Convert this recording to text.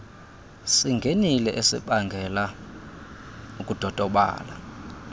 singenile esibangela ukudodobala